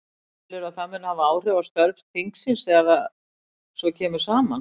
Telurðu að það muni hafa áhrif á störf þingsins þegar það svo kemur saman?